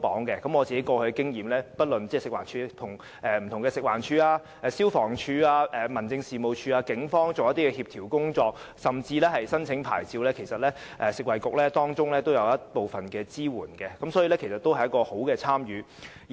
根據我過往的經驗，不論是與食物環境衞生署、消防處、民政事務總署或警方進行協調工作，甚至在申請牌照方面，食物及衞生局其實也有提供部分支援，亦有良好的參與。